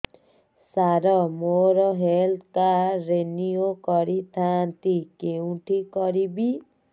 ସାର ମୋର health card renew କରିଥାନ୍ତି କେଉଁଠି କରିବି